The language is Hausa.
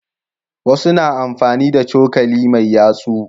Wasu na amfani da cokali mai yatsu.